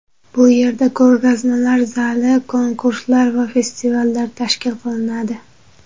Bu yerda ko‘rgazmalar zali, konkurslar va festivallar tashkil qilinadi.